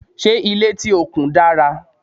ṣé ilé tí o kùn dára?